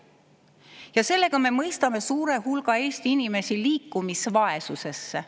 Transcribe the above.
Ja sellega me mõistame suure hulga Eesti inimesi liikumisvaesusesse.